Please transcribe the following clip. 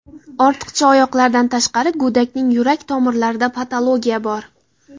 Ortiqcha oyoqlardan tashqari, go‘dakning yurak tomirlarida patologiya bor.